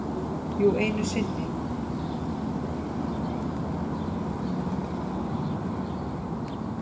Jú, einu sinni.